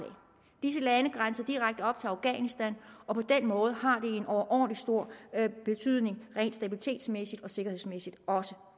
disse lande grænser direkte op til afghanistan og på den måde har det en overordentlig stor betydning rent stabilitetsmæssigt og sikkerhedsmæssigt også